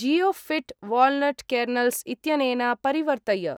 ज़ियोफिट् walnut kernels इत्यनेन परिवर्तय।